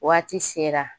Waati sera